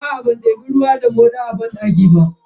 Aa ban debi ruwa ba a cikin moɗan banɗakin.